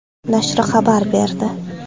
nashri xabar berdi .